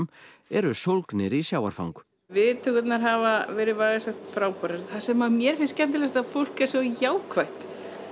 eru sólgnir í sjávarfang viðtökurnar hafa verið vægast sagt frábærar það sem mér finnst skemmtilegast er að fólk er svo jákvætt